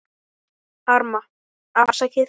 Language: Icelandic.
Arma: Afsakið